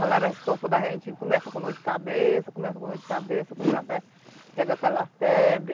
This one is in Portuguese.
Malária, esse corpo da gente começa com dor de cabeça, começa com dor de cabeça, quando da fé chega aquela febre.